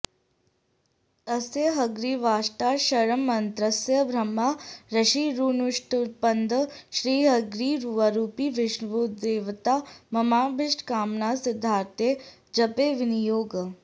अस्य हयग्रीवाष्टाक्षरमन्त्रस्य ब्रह्मा ऋषिरनुष्टुप्छन्दः श्रीहयग्रीवरूपी विष्णुर्देवता ममाभीष्टकामनासिद्धयर्थे जपे विनियोगः